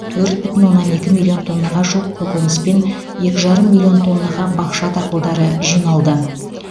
төрт бүтін оннан екі миллион тоннаға жуық көкөніс пен екі жарым миллион тоннаға бақша дақылдары жиналды